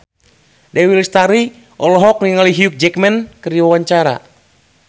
Dewi Lestari olohok ningali Hugh Jackman keur diwawancara